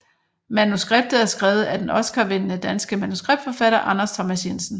Manuskriptet er skrevet af den Oscarvindende danske manuskriptforfatter Anders Thomas Jensen